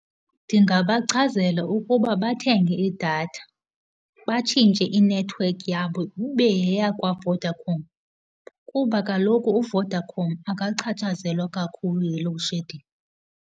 Ndingabachazela ukuba bathenge idatha, batshintshe i-network yabo ibe yeyakwaVodacom kuba kaloku uVodacom akachatshazelwa kakhulu yi-loadshedding.